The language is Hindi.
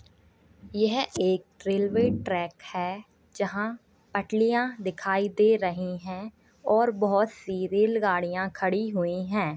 यह एक रेलवे ट्रैक है जहां पटलिया दिखाई दे रही हैं और बहोत सी रेलगाड़ियां खड़ी हुई हैं।